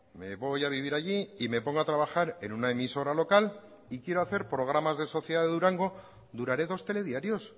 me voy a vivir allí y me pongo a trabajar en una emisora local y quiero hacer programas de sociedad de durango duraré dos telediarios